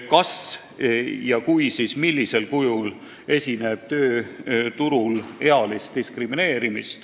Kas tööturul esineb ealist diskrimineerimist ja kui esineb, siis millisel kujul?